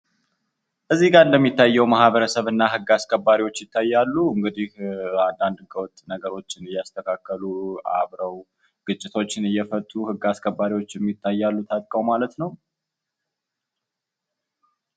እዚህ ጋር እንደሚታየው ማህበረሰብ እና ህግ አስከባሪዎች ይታያሉ። እንግዲህ አንዳንድ ህገወጥ ነገሮችን እያስተካከሉ አብሮ ግጭቶችን እየፈቱ ግ አስከባሪዎችም ይታያሉ ታጥቀው ማለት ነው ።